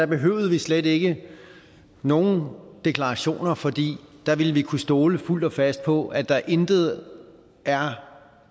behøvede vi slet ikke nogen deklarationer fordi der ville vi kunne stole fuldt og fast på at der intet er